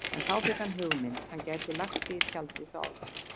En þá fékk hann hugmynd: Hann gæti bara lagt sig í tjaldið hjá Álfi.